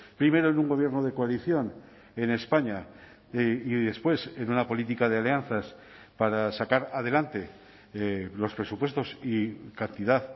primero en un gobierno de coalición en españa y después en una política de alianzas para sacar adelante los presupuestos y cantidad